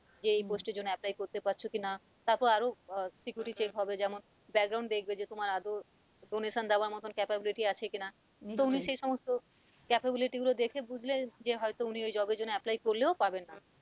যে এই post এর জন্য apply করতে পারছো কি না? তারপর আরও আহ security check হবে যেমন back ground যে তোমার আদৌ donation দেওয়ার মতো capability আছে কি না? নিশ্চয় তো উনি সে সমস্ত capability গুলো দেখে বুঝলেন যে হয়তো উনি ওই job এর জন্য apply করলেও পাবেন না।